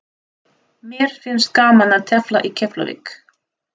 Mér finnst gaman að tefla í Keflavík.